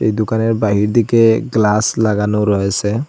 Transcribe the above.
এই দুকানের বাহির দিকে গ্লাস লাগানো রয়েসে।